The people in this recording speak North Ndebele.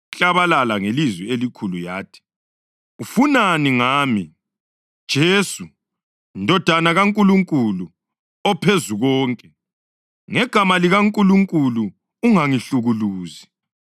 Yaklabalala ngelizwi elikhulu yathi, “Ufunani ngami, Jesu, Ndodana kaNkulunkulu oPhezukonke? Ngegama likaNkulunkulu ungangihlukuluzi!”